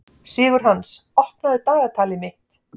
Sigurhans, opnaðu dagatalið mitt.